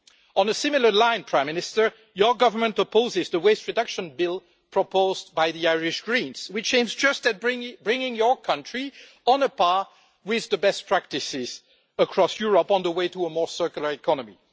On a similar line, Prime Minister, your government opposes the waste reduction bill proposed by the Irish Greens, which only aims at bringing your country on a par with best practices across Europe on the way to a more circular economy.